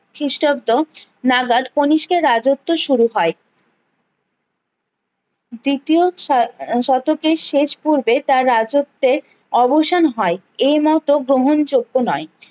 খিস্টাব্দ নাগাদ কণিষ্কের রাজত্ব শুরু হয় দ্বিতীয় শ শতকের শেষ পূর্বে তার রাজত্বে অবসান হয় এ মত গ্রহণযোগ্য নয়